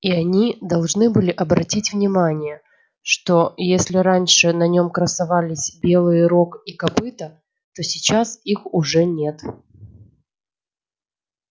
и они должны были обратить внимание что если раньше на нём красовались белые рог и копыто то сейчас их уже нет